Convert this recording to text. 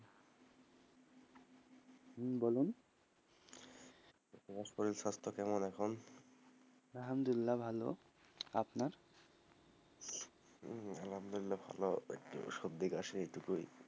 হম বলুন, তোমার শরীরশাস্ত্র কেমন এখন? আলহামদুল্লা ভালো, আপনার? হম আলহামদুল্লা ভালো, একটু সর্দি কাশি এইটুকুই,